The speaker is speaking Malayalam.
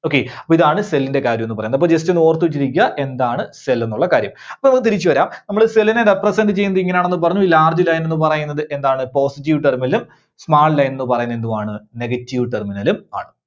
Okay. അപ്പോ ഇതാണ് cell ന്റെ കാര്യം എന്നു പറയുന്നത്. അപ്പോ just ഒന്ന് ഓർത്തുവെച്ചിരിക്കുക എന്താണ് cell എന്നുള്ള കാര്യം. അപ്പോ നമുക്ക് തിരിച്ചു വരാം നമ്മള് cell നെ represent ചെയ്യുന്നത് എങ്ങനെയാണെന്ന് പറഞ്ഞു. Large line ന്ന് പറയുന്നത് എന്താണ്? positive terminal ഉം small line ന്ന് പറയുന്നത് എന്തുവാണ്? Negative terminal ഉം ആണ്.